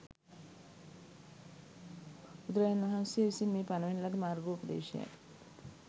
බුදුරජාණන් වහන්සේ විසින් මේ පනවන ලද මාර්ගෝපදේශයයි.